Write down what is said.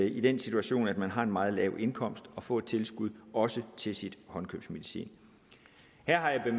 i den situation at man har en meget lav indkomst og få et tilskud også til sin håndkøbsmedicin jeg har her